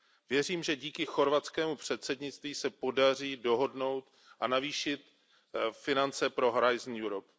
Věřím, že díky chorvatskému předsednictví se podaří dohodnout a navýšit finance pro Horizon Europe